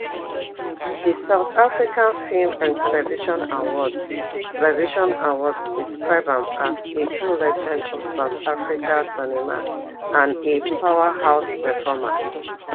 di south african film and television awards television awards describe am as a true legend of south african cinema and a powerhouse performer